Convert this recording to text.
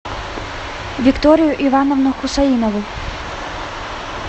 викторию ивановну хусаинову